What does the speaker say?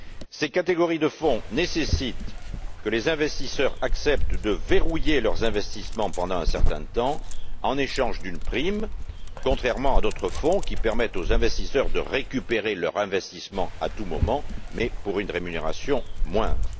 Ces catégories de fonds nécessitent que les investisseurs acceptent de verrouiller leurs investissements pendant un certain temps en échange d'une prime, contrairement à d'autres fonds qui permettent aux investisseurs de récupérer leur investissement à tout moment mais pour une rémunération moindre.